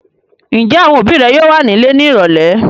Ǹjẹ́ àwọn òbí rẹ yóò wà nílé ní ìrọ́lẹ́?